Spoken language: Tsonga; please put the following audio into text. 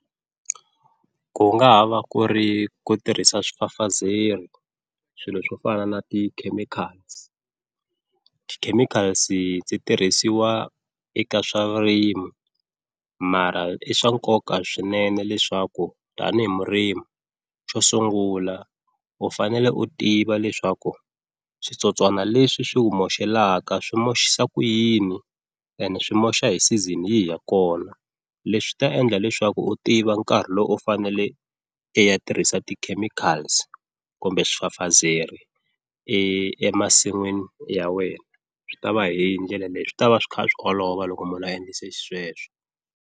Ku nga ha va ku ri ku tirhisa swifafazeri swilo swo fana na ti-chemicals, ti-chemicals ti tirhisiwa eka swa vurimi mara i swa nkoka swinene leswaku tanihi murimi xo sungula u fanele u tiva leswaku switsotswana leswi swi ku moxelaka swi moxisa ku yini ende swi moxa hi season yihi ya kona, leswi ta endla leswaku u tiva nkarhi lowu u fanele i ya tirhisa ti-chemicals kumbe swifafazeri emasin'wini ya wena swi ta va hi ndlela leyi swi tava swi kha swi olova loko munhu a endlise xisweswo.